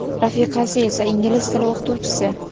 rafiqasi esa ingliz tili o‘qituvchisi.